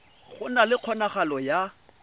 go na le kgonagalo ya